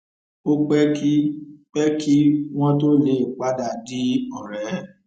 ó pé kí pé kí wón tó lè padà di òré